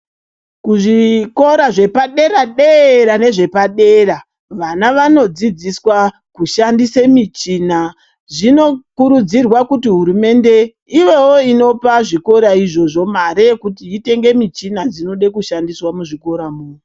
Zvikora zvepaderadera nevepadera vana vanodzidziswa kushandisa mishina. Zvinokurudzirwa kuti hurumende ivewo inopa zvikora izvozvo mare yekiti itenge michina inoda kushandiswa muzvikoramwo.